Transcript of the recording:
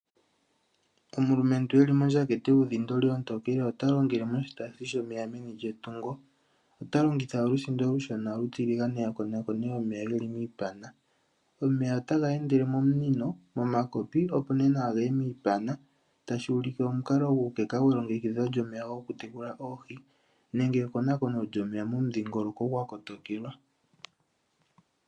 Omulumentu e li mondjatha ontookele yuudhindoli ota longele moshitaasi shomeya meni lyetungo. Ota longitha olusindo olushona olutiligane a konakone omeya ge li miipana. Omeya otaga endele mominino, momakopi, opo nee nawa ge ye miipana tashi ulike omukalo guukeka gwelongekidho lyomeya gokutekula oohi nenge ekonakono lyomeya momudhingoloko gwa kotokelwa.